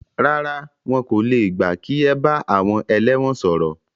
Rárá, wọn kò le gbà kí ẹ bá àwọn ẹlẹ́wọ̀n sọ̀rọ̀.